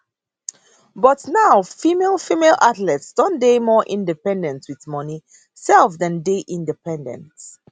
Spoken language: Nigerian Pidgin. but now female female athletes don dey more independent wit money sef dem dey independent